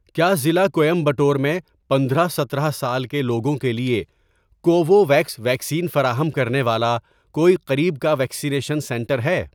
کیا ضلع کوئمبٹور میں پندرہ سترہ سال کے لوگوں کے لیے کوووویکس ویکسین فراہم کرنے والا کوئی قریب کا ویکسینیشن سنٹر ہے؟